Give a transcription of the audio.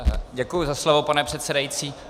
Děkuji za slovo, pane předsedající.